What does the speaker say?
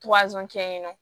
kɛ yen nɔ